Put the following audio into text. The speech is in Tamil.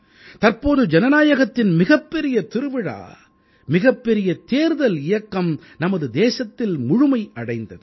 தற்போது ஜனநாயகத்தின் மிகப்பெரிய திருவிழா மிகப்பெரிய தேர்தல் இயக்கம் நமது தேசத்தில் முழுமை அடைந்தது